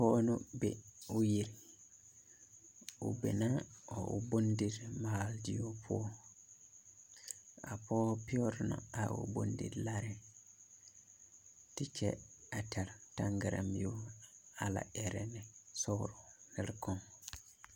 Pɔge ne be o yiri o be na a o bondimaaledie poɔ a pɔge pɛgre na a o bondilaɛ te kyɛ tɛre a taŋgara miri a la ɛrɛ ne nire kaŋ.